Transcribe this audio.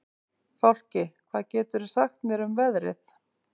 Fálki, hvað geturðu sagt mér um veðrið?